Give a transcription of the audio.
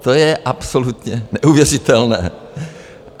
To je absolutně neuvěřitelné.